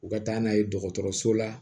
U ka taa n'a ye dɔgɔtɔrɔso la